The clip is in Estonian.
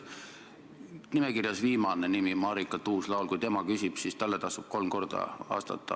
Kui nimekirjas viimane olev Marika Tuus-Laul küsib, siis talle tasub kolm korda vastata.